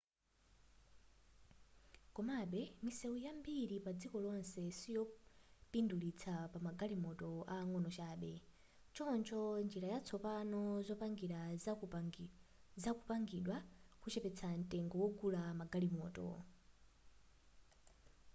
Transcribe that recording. komabe misewu yambiri padziko lonse siyopindulitsa pamagalimoto ang'ono chabe choncho njira zatsopano zopangira zikupangidwa kuchepetsa mtengo wogulira magalimoto